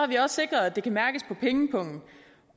vi også sikret at det kan mærkes på pengepungen